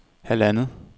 halvandet